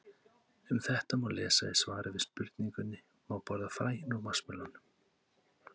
Um þetta má lesa í svari við spurningunni Má borða fræin úr vatnsmelónum?